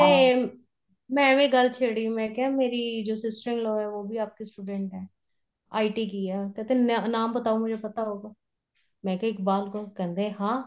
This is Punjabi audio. ਤੇ ਮੈਂ ਐਵੇ ਗੱਲ ਛੇੜੀ ਮੈਂ ਕਿਆ ਜੋ ਮੇਰੀ ਜੋ sister in law ਏ ਵੋ ਬੀ ਆਪਕੀ student ਹੈ IT ਕੀ ਏ ਕਿਹਤੇ ਨਾਮ ਬਤਾਉ ਮੁਜੇ ਪਤਾ ਹੋਗਾ ਮੈਂ ਕਿਆ ਇਕਬਾਲ ਕੌਰ ਕਹਿੰਦੇ ਹਾਂ